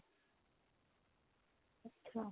ਅੱਛਾ